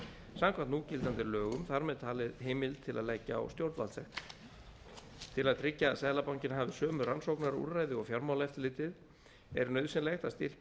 samkvæmt núgildandi lögum þar með talið heimild til að leggja á stjórnvaldssektir til að tryggja að seðlabankinn hafi sömu rannsóknarúrræði og fjármálaeftirlitið er nauðsynlegt að styrkja